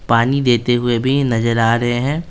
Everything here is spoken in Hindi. पानी देते हुए भी नजर आ रहे हैं।